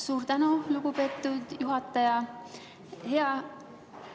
Suur tänu, lugupeetud juhataja!